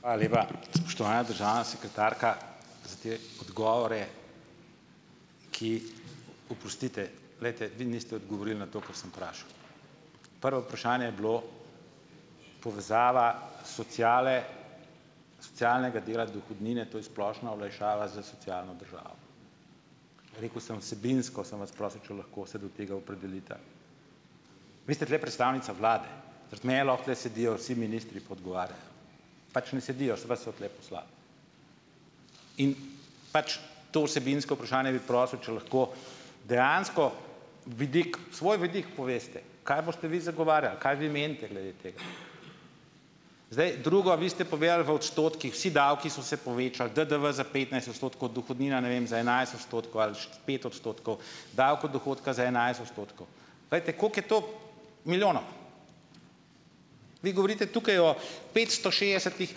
Hvala lepa, spoštovana državna sekretarka, za te odgovore, ki oprostite, glejte, vi niste odgovorili na to, kar sem vprašal. Prvo vprašanje je bilo povezava sociale socialnega dela dohodnine, to je splošna olajšava za socialno državo. Rekel sem, vsebinsko sem vas prosil, če lahko se do tega opredelite. Vi ste tule predstavnica vlade, zaradi mene lahko tule sedijo vsi ministri pa odgovarjajo pač ne sedijo, so vas so tule poslali. In pač. To vsebinsko vprašanje bi prosil, če lahko dejansko vidik svoj vidik poveste, kaj boste vi zagovarjali, kaj vi menite glede tega. Zdaj drugo. Vi ste povedali v odstotkih, vsi davki so se povečali, DDV za petnajst odstotkov, dohodnina, ne vem, za enajst odstotkov ali pet odstotkov, davek od dohodka za enajst odstotkov, povejte, koliko je to milijonov. Vi govorite tukaj o petsto šestdesetih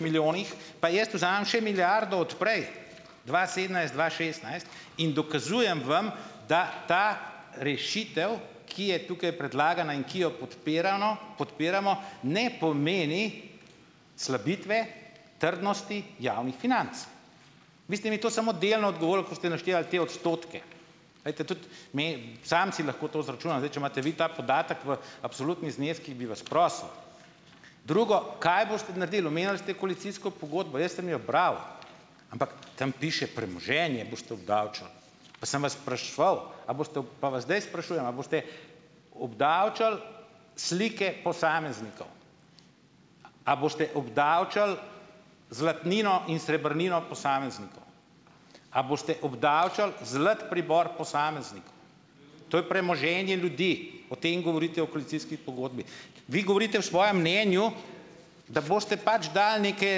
milijonih pa jaz vzamem še milijardo od prej, dva sedemnajst-dva šestnajst, in dokazujem vam, da ta rešitev, ki je tukaj predlagana in ki jo podpirano podpiramo, ne pomeni slabitve trdnosti javnih financ. Vi ste mi to samo delno odgovorili, ko ste naštevali te odstotke. Glejte, tudi mi samci lahko to izračunamo. Zdaj. Če imate vi ta podatek, v absolutnih zneskih bi vas prosil. Drugo, kaj boste naredili? Omenili ste koalicijsko pogodbo. Jaz sem jo bral, ampak tam piše, premoženje boste obdavčili. Pa sem vas spraševal, a boste, pa vas zdaj sprašujem, a boste obdavčili slike posameznikov, a boste obdavčili zlatnino in srebrnino posameznikov, a boste obdavčili zlat pribor posameznikov. To je premoženje ljudi. O tem govorite v koalicijski pogodbi. Vi govorite v svojem mnenju, da boste pač dali neke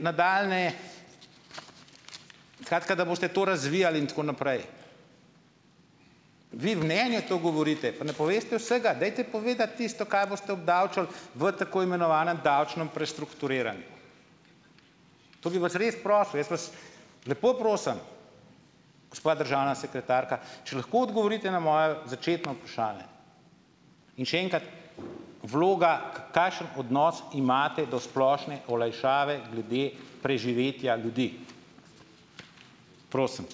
nadaljnje, skratka, da boste to razvijali in tako naprej. Vi mnenje to govorite, pa ne poveste vsega. Dajte povedati tisto, kaj boste obdavčili v tako imenovanem davčnem prestrukturiranju. To bi vas res prosil. Jaz vas lepo prosim, gospa državna sekretarka, če lahko odgovorite na moje začetno vprašanje! In še enkrat, vloga, kakšen odnos imate do splošne olajšave glede preživetja ljudi. Prosim.